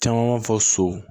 Caman b'a fɔ so so